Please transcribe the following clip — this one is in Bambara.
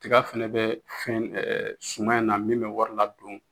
Tiga fɛnɛ bɛ fɛn ɛɛ suman in na min bɛ wari ladon